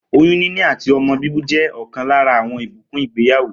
Oyún níní àti o̩mo̩ bíbí jé̩ ò̩kan lára àwo̩n ìbùkún ìgbéyàwó